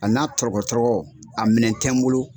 A n'a tɔrɔgɔ tɔrɔgɔ a minɛn tɛ n bolo.